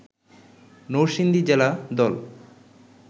নরসিংদী জেলা দল